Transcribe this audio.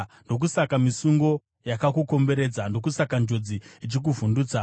Ndokusaka misungo yakakukomberedza, ndokusaka njodzi ichikuvhundutsa,